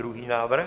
Druhý návrh.